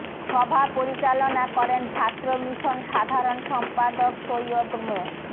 সভা পরিচালনা করেন ছাত্র মিশন সাধারণ সম্পাদক সৈয়দ মো